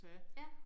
Ja